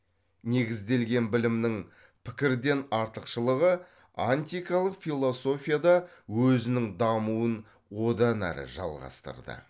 негізделген білімнің пікірден артықшылығы антикалық философияда өзінің дамуын одан әрі жалғастырды